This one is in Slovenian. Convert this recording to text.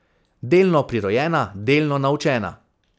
Delno prirojena, delno naučena.